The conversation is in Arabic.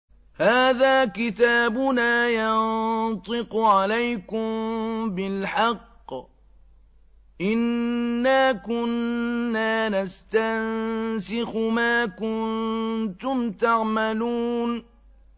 هَٰذَا كِتَابُنَا يَنطِقُ عَلَيْكُم بِالْحَقِّ ۚ إِنَّا كُنَّا نَسْتَنسِخُ مَا كُنتُمْ تَعْمَلُونَ